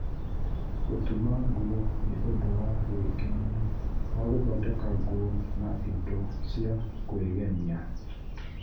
Gũtuma nguo nĩ ũndũ wa gwĩkenia wa gũthondeka nguo na indo cia kwĩgemia.